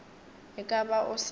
e ka ba o sa